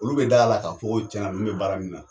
Olu be d'a la ka fɔ ko tiɲɛna ninnu be baara min na